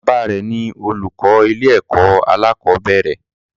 Baba rẹ ni olùkọ ilé ẹkọ alakobere.